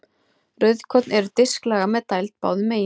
Rauðkorn eru disklaga með dæld báðum megin.